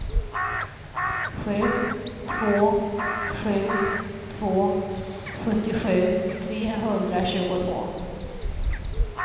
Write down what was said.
sju två sju två sjuttiosju trehundratjugotvå